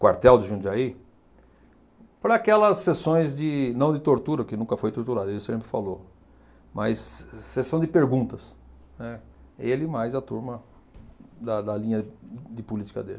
quartel de Jundiaí, para aquelas sessões de não de tortura, que nunca foi torturado, ele sempre falou, mas se sessão de perguntas, né, ele mais a turma da da linha de política dele.